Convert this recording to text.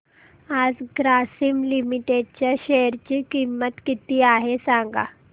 आज ग्रासीम लिमिटेड च्या शेअर ची किंमत किती आहे सांगा